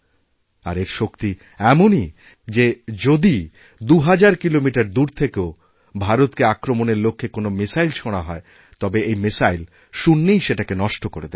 আর এর শক্তিএমনই যে যদি দু হাজার কিলোমিটার দূর থেকেওভারতকে আক্রমণের লক্ষ্যে কোনো মিসাইল ছোঁড়া হয় তবে এই মিসাইল শূন্যেই সেটাকে নষ্টকরে দেবে